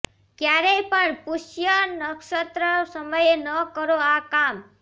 ક્યારેય પણ પુષ્ય નક્ષત્ર સમયે ન કરો આ કામ